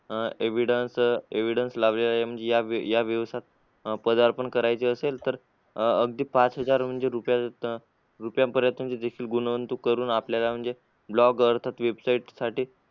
अह evidence evidence लावलेल्या म्हणजे या या व्यवसाया त पदार्पण करायचे असेल तर अं अगदी पाच हजार म्हणजे रुपया त रुपयापर्यंत गुंतवणूक करून आपल्याला म्हणजे blogger website साठी